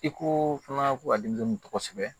I ko fana ko a denmisɛnnin tɔgɔ kosɛbɛ